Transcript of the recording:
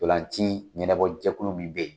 Ntolan ci ɲɛnɛbɔjɛkulu mun be yen